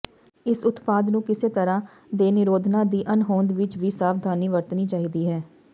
ਇਸ ਉਤਪਾਦ ਨੂੰ ਕਿਸੇ ਤਰ੍ਹਾਂ ਦੇ ਨਿਰੋਧਨਾਂ ਦੀ ਅਣਹੋਂਦ ਵਿਚ ਵੀ ਸਾਵਧਾਨੀ ਵਰਤਣੀ ਚਾਹੀਦੀ ਹੈ